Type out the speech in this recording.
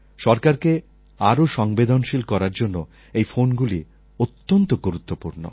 সরকারকে আরও সংবেদনশীল করার জন্য এই ফোনগুলি অত্যন্ত গুরুত্বপূর্ণ